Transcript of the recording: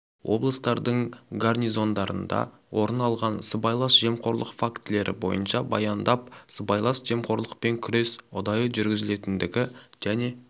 облыстардың гарнизондарында орын алған сыбайлас жемқорлық фактілері бойынша баяндап сыбайлас жемқорлықпен күрес ұдайы жүргізілетіндігі және